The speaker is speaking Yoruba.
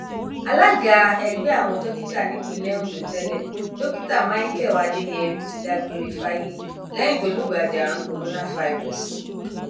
alága ẹgbẹ àwọn dókítà nípìnlẹ ondo tẹlẹ dókítà michael adeyeri ti dágbére fáyé lẹyìn tó lùgbàdì àrùn korofairósósì